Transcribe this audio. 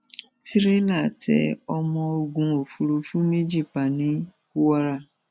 tìrẹlà tẹ ọmọ ogun òfurufú méjì pa ní kwara